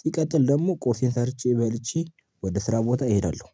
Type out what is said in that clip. ሲቀጥል ደግሞ ቁርሴን ሰርቼ በልቼ ወደ ስራ ቦታ እሄዳለሁ